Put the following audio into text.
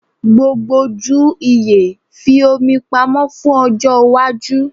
Gbogbo ju iye; fi omi pamọ fun ojo iwaju